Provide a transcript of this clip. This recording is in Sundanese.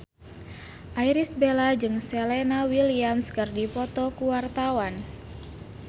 Irish Bella jeung Serena Williams keur dipoto ku wartawan